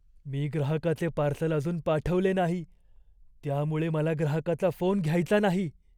मी ग्राहकाचे पार्सल अजून पाठवले नाही त्यामुळे मला ग्राहकाचा फोन घ्यायचा नाही.